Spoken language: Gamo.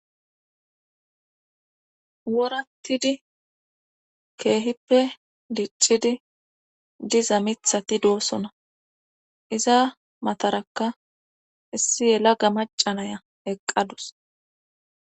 worattidi keehippe diccidi diza mithati doosona iza mataraka issi yela ga macanaya eqqadus